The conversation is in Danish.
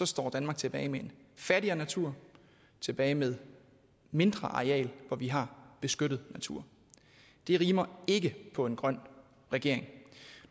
står danmark tilbage med en fattigere natur tilbage med mindre areal hvor vi har beskyttet natur det rimer ikke på en grøn regering